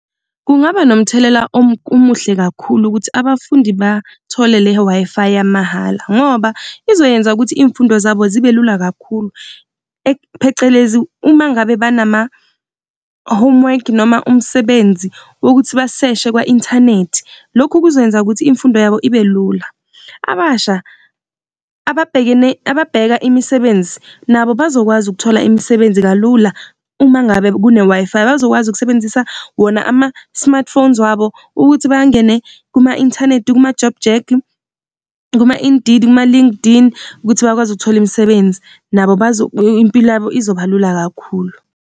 Kungaba nomthelela omuhle kakhulu ukuthi abafundi bathole le Wi-Fi yamahhala ngoba izoyenza ukuthi iy'mfundo zabo zibe lula kakhulu, phecelezi uma ngabe banama-homework noma umsebenzi wokuthi baseshe kwa-inthanethi. Loku kuzokwenza ukuthi imfundo yabo ibe lula. Abasha ababheka imisebenzi nabo bazokwazi ukuthola imisebenzi kalula, uma ngabe kuneWi-Fi bazokwazi ukusebenzisa wona ama-smart phones wabo ukuthi bangene kuma-inthanethi, kuma-JobJack, kuma-Indeed, kuma-LinkedIn, ukuthi bakwazi ukuthola imisebenzi, nabo impilo yabo izoba lula kakhulu.